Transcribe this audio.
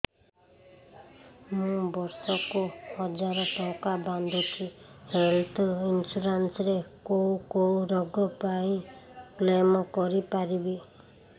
ମୁଁ ବର୍ଷ କୁ ହଜାର ଟଙ୍କା ବାନ୍ଧୁଛି ହେଲ୍ଥ ଇନ୍ସୁରାନ୍ସ ରେ କୋଉ କୋଉ ରୋଗ ପାଇଁ କ୍ଳେମ କରିପାରିବି